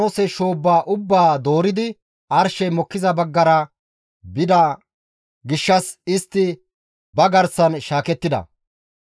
Hessa gishshas Looxey baas Yordaanoose shoobba ubbaa dooridi arshey mokkiza baggara bida gishshas istti ba garsan shaakettida.